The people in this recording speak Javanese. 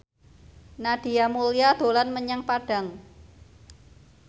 Nadia Mulya dolan menyang Padang